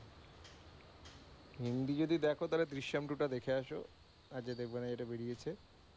হিন্দি যদি দেখো তাহলে দৃশ্যম two টা দেখে আসো, অজয় দেবগনের যেটা বেরিয়েছে।